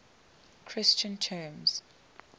christian terms